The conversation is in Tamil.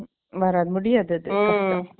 வராது, முடியாது அது.